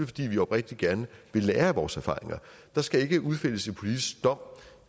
fordi vi oprigtigt gerne vil lære af vores erfaringer der skal ikke udfældes en politisk dom